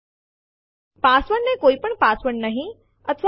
આ દરેક પેહલા થી હાજર ડેસ્ટીનેશન ફાઇલ નું બેકઅપ બનાવે છે